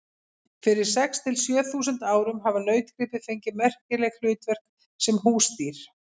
Fyrir sex til sjö þúsund árum hafa nautgripir fengið merkileg hlutverk sem húsdýr.